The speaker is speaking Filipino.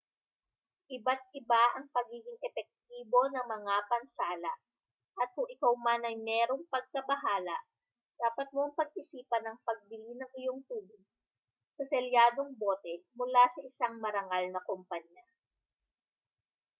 iba't-iba ang pagiging epektibo ng mga pansala at kung ikaw man ay mayroong pagkabahala dapat mong pag-isipan ang pagbili ng iyong tubig sa selyadong bote mula sa isang marangal na kompanya